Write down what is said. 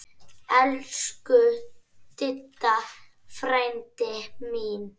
Elsku Didda frænka mín.